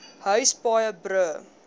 huise paaie brûe